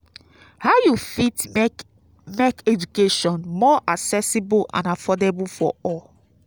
how you fit make make education more accessible and affordable for all?